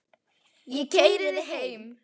Ég keyri þig heim.